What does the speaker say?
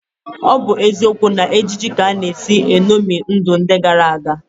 Ọ bụ eziokwu na ejije ka a na-esi eṅomi ndụ ndị gara aga